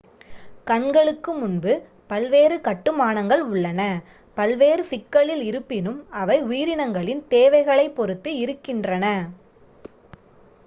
கண்களுக்கு முன்பு பல்வேறு கட்டுமானங்கள் உள்ளன பல்வேறு சிக்கலில் இருப்பினும் அவை உயிரினங்களின் தேவைகளைப் பொறுத்து இருக்கின்றன